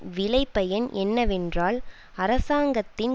விளைபயன் என்னவென்றால் அரசாங்கத்தின்